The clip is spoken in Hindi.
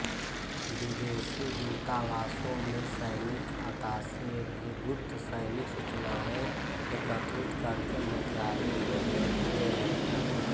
विदेशी दूतावासों में सैनिक अताशे भी गुप्त सैनिक सूचनायें एकत्रित करके मन्त्रालय को भेजते हैं